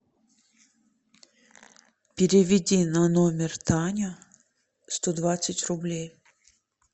переведи на номер таня сто двадцать рублей